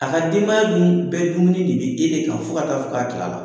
A ka denbaya dun bɛɛ dumuni de be e de kan fo ka taa fɔ k'a tilala.